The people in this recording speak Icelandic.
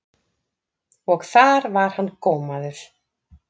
Og þar var hann gómaður.